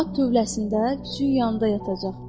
At tövləsində, tüçün yanında yatacaq.